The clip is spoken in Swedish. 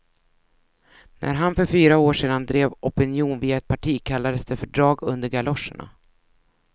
När han för fyra år sedan drev opinion via ett parti kallades det för drag under galoscherna.